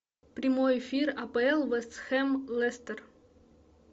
прямой эфир апл вест хэм лестер